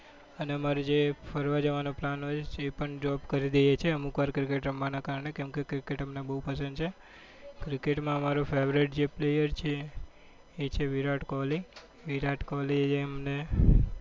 અને અમારે જે ફરવા જવાનો પ્લાન હોય છે પણ drop કરી દઈએ છીએ અમુક વાર cricket રમવાના કારણે કેમકે cricket અમને બહુ પસંદ છે cricket માં અમારો favorite છે player છે એ છે વિરાટ કોહલી વિરાટ કોહલી એ અમને